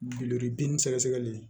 Guloki sɛgɛsɛgɛli